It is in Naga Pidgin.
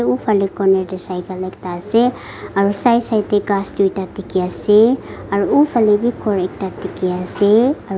ufhale corner te cycle ekta ase aro side side khaas tuita dekhi ase aro ufhale bi ghor ekta dekhi ase aro.